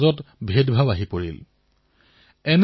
দামী খেলাসামগ্ৰীটোত বনাবলৈ একো নাছিল শিকিবলৈও একো নাছিল